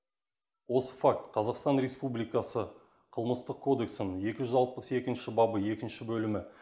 осы факт қазақстан республикасы қылмыстық кодексінің екі жүз алпыс екінші бабы екінші бөлімі